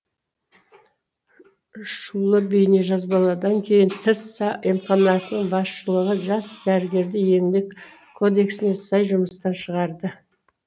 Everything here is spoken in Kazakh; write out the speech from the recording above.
шулы бейнежазбалардан кейін тіс емханасының басшылығы жас дәрігерді еңбек кодексіне сай жұмыстан шығарды